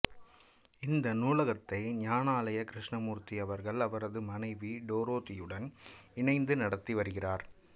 இந்த நூலகத்தை ஞானாலயா கிருஷ்ணமூர்த்தி அவர்கள் அவரது மனைவி டோரதியுடன் இணைந்து நடத்தி வருகிறார்